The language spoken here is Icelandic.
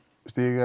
stiga